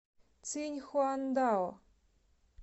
циньхуандао